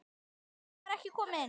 Kata var ekki komin.